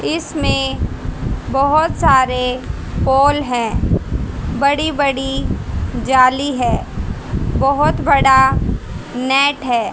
इसमे बहोत सारे हाॅल है बड़ी बड़ी जाली है बहोत बड़ा नेट है।